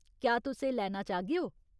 क्या तुस एह् लैना चाह्गेओ ?